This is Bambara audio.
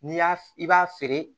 N'i y'a i b'a feere